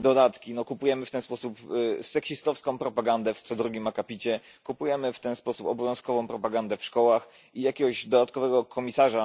dodatki kupujemy w ten sposób seksistowską propagandę w co drugim akapicie, kupujemy w ten sposób obowiązkową propagandę w szkołach i jakiegoś dodatkowego komisarza